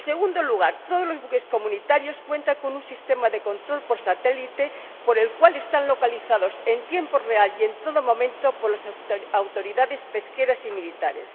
En segundo lugar, todos los buques comunitarios cuentan con un sistema de control por satélite, por el cual están localizados en tiempo real y en todo momento por las autoridades pesqueras y militares.